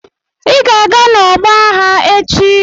Ị ga-aga n'ọgbọ aghá echi!